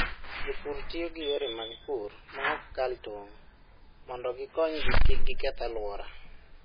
Jopur tiyo gi yore mag pur ma ok kal tong' mondo gikonygi kik giketh alwora.